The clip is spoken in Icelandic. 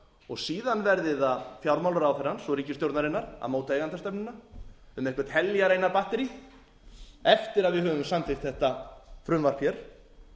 og síðan verði það fjármálaráðherrans og ríkisstjórnarinnar að móta eigendastefnuna um eitthvert heljarinnar batterí eftir að við höfum samþykkt þetta frumvarp hér